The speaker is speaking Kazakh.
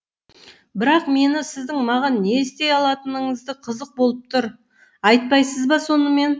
бірақ мені сіздің маған не істей алатыныңыз қызық болып тұр айтпайсыз ба сонымен